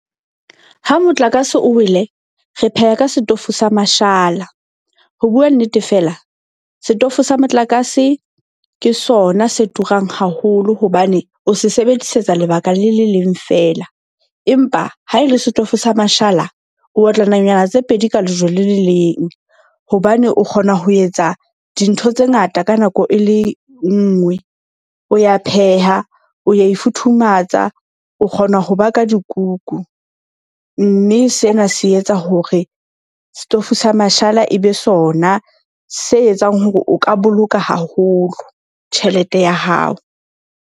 Ha motlakase o wele, re pheha ka setofo sa mashala. Ho bua nnete, fela setofo sa motlakase ke sona se turang haholo hobane o se sebedisetsa lebaka le le leng fela. Empa ha e le setofo sa mashala o otla nonyana tse pedi ka lejwe le le leng. Hobane o kgona ho etsa dintho tse ngata ka nako e le nngwe, o ya pheha, o ya ifuthumatsang, o kgona ho baka dikuku. Mme sena se etsa hore setofo sa mashala ebe sona se etsang hore o ka boloka haholo tjhelete ya hao.